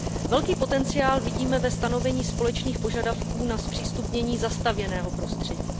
Velký potenciál vidíme ve stanovení společných požadavků na zpřístupnění zastavěného prostředí.